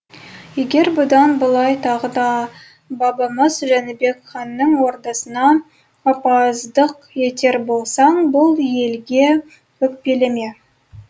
егер бұдан былай тағы да бабамыз жәнібек ханның ордасына опасыздық етер болсаң бұл елге өкпелеме